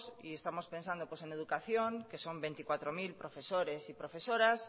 y estamos pensando en educación que son veinticuatro mil profesores y profesoras